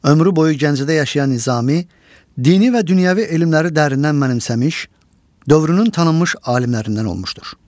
Ömrü boyu Gəncədə yaşayan Nizami, dini və dünyəvi elmləri dərindən mənimsəmiş, dövrünün tanınmış alimlərindən olmuşdur.